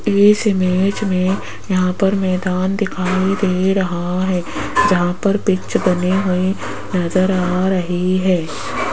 इस इमेज मे यहां पर मैदान दिखाई दे रहा है जहां पर पिच बनी हुई नजर आ रही है।